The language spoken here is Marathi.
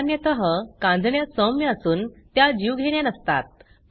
सामान्यतः कांजिण्या सौम्य असून त्या जीवघेण्या नसतात